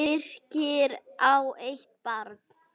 Birkir á eitt barn.